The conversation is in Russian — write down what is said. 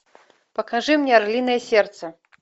покажи мне орлиное сердце